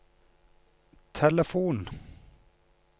telefon